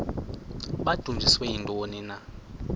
babudunjiswe yintoni na